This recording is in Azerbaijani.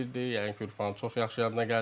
Yəqin ki, Ürfan çox yaxşı yadına gəlir.